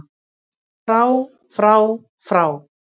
FRÁ FRÁ FRÁ